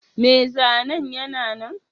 Mai zanen yana nan?